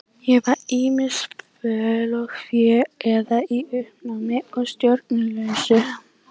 Ég var ýmist föl og fá eða í uppnámi og stjórnlaus.